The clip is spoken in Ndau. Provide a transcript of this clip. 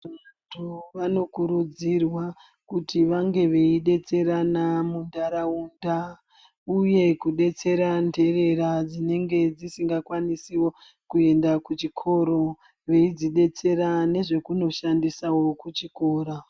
Vantu vanokurudzirwa kuti vange veidetserana muntaraunda uye kudetsera nterera dzinenge dzisingakwanisiwo kuenda kuchikoro veidzidetsera nezvekunoshandisawo kuchikora.